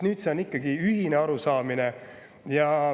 Nüüd on meil ühine arusaamine.